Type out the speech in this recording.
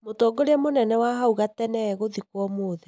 Mũtongiria mũnene wa hau gatene egũthikwo ũmũthĩ